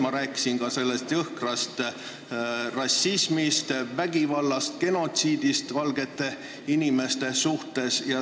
Ma rääkisin ka jõhkrast rassismist, vägivallast, genotsiidist valgete inimeste vastu.